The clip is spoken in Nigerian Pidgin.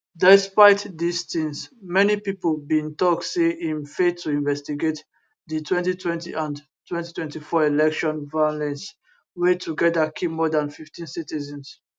despite dis tins many pipo bin tok say im fail to investigate di 2020 and 2024 election violence wey togeda kill more dan 15 citizens